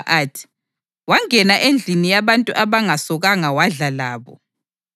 athi, “Wangena endlini yabantu abangasokanga wadla labo.”